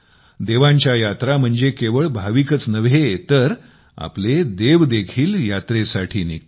देवांच्या यात्रा म्हणजे केवळ भाविकच नव्हे तर आपले देव देखील यात्रेसाठी निघतात